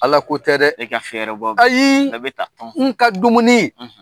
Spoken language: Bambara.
Ala ko tɛ dɛ, e ka fɛɛrɛ bɔ, ayi, a bɛ taa, n ka dumuni.